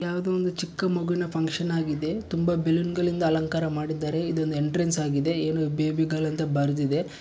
ಯಾವ್ದೋ ಒಂದು ಚಿಕ್ಕ ಮಗುನ ಫಂಕ್ಷನ್ ಆಗಿದೆ ತುಂಬಾ ಬಲ್ಲೋನ್ಗಳಿಂದ ಅಲಂಕಾರ ಮಾಡಿದ್ದಾರೆ ಇದೊಂದು ಎಂಟ್ರನ್ಸ್ ಆಗಿದೆ ಏನು ಬೆಬಿಗಳೆಂದು ಬರ್ದಿದೆ.